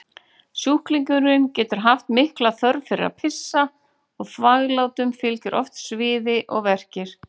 Sjúklingurinn getur haft mikla þörf fyrir að pissa og þvaglátum fylgja oft sviði og verkir.